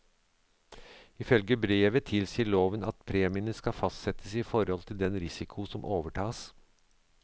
Ifølge brevet tilsier loven at premiene skal fastsettes i forhold til den risiko som overtas.